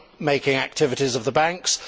the money making activities, of the banks.